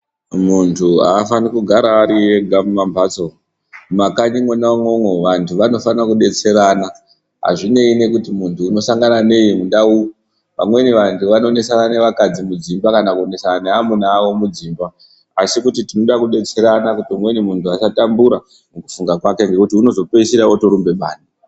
Muntu haafaniri kugara ari ega kumambatso. Mumakanyi mona imomo vantu vanofanira kudetserana, hazvinei nekuti muntu anosangana neyi muntau, vamweni vantu vanonetsana nevakadzi mudzimba kana kunetsana navamwene vavo mudzimba, asi kuti tinoda kudetserana kuti umweni muntu asatambura mukufunga kwake ngekuti unozopedzisira otorumbe bayi.